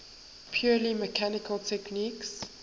purely mechanical techniques